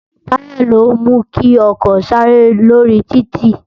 Tàyá ló mú ki òkò sàré lórí tìtí